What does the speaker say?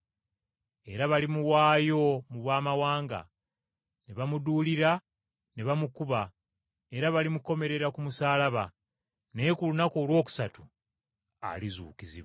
Era balimuwaayo eri Abamawanga ne bamuduulira ne bamukuba, era balimukomerera ku musaalaba. Naye ku lunaku olwokusatu alizuukizibwa.”